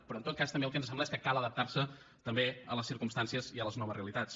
però en tot cas també el que ens sembla és que cal adaptarse també a les circumstàncies i a les noves realitats